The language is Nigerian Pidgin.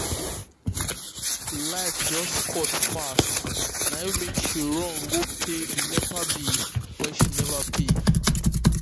light just cut fast na im make she rush go pay the nepa bill wey she never pay.